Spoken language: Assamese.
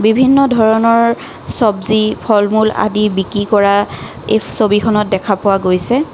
বিভিন্ন ধৰণৰ সবজি ফল-মূল আদি বিক্ৰী কৰা এই ছবিখনত দেখা পোৱা গৈছে।